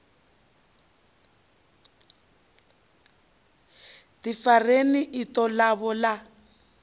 ḓi farelela iṱo ḽavho ḽa